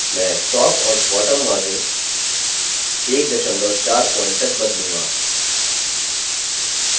मैं top और bottom margins 14pt तक बदलूँगा